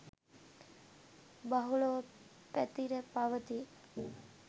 බහුලව පැතිර පවතී